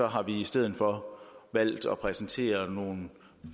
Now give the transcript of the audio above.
har vi i stedet for valgt at præsentere nogle